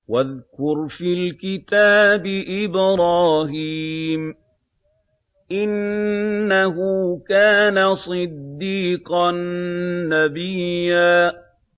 وَاذْكُرْ فِي الْكِتَابِ إِبْرَاهِيمَ ۚ إِنَّهُ كَانَ صِدِّيقًا نَّبِيًّا